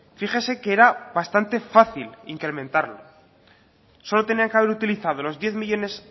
fíjese que era bastante fácil incrementarlo solo tenía que haber utilizado los diez millónes